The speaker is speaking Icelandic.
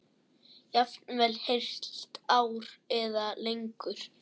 Jafnvel heilt ár eða lengur.